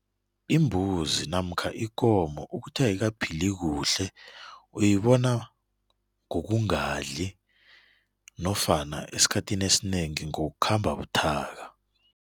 Imbuzi namkha ikomo ukuthi ayikaphili kuhle uyibona ngokungadli nofana esikhathini esinengi ngokukhamba buthaka.